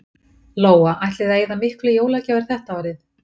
Lóa: Ætlið þið að eyða miklu í jólagjafir þetta árið?